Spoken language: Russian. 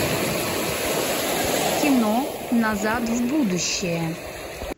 кино назад в будущее